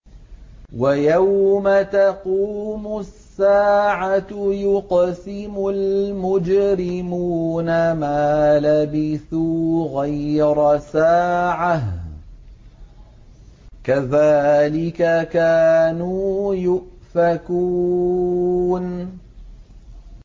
وَيَوْمَ تَقُومُ السَّاعَةُ يُقْسِمُ الْمُجْرِمُونَ مَا لَبِثُوا غَيْرَ سَاعَةٍ ۚ كَذَٰلِكَ كَانُوا يُؤْفَكُونَ